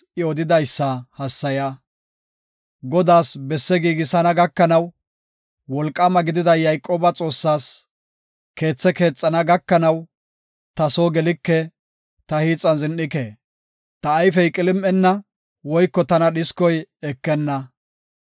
Godaas besse giigisana gakanaw, Wolqaama gidida Yayqooba Xoossaas, keethe keexana gakanaw, ta soo gelike; ta hiixan zin7ike. Ta ayfey qilim7enna, woyko tana dhiskoy ekenna.